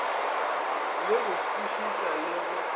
le go kwešiša le go